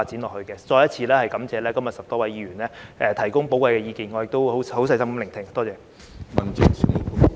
我再次感謝今天10多位議員提供寶貴意見，我亦已細心聆聽，多謝。